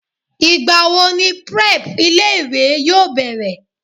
Ìgbà wo ni prep ilé ìwé yóò bẹ̀rẹ̀?